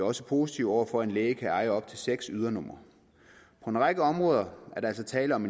også positive over for at en læge kan eje op til seks ydernumre på en række områder er der altså tale om